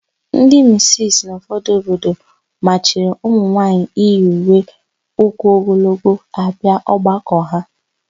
Ndị misisi n'ụfọdụ obodo machiri ụmụnwaanyị iyi uwe ụkwụogologo abịa ọgbakọ ha.